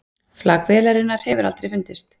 Flak vélarinnar hefur aldrei fundist